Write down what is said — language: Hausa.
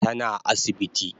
Tana asibiti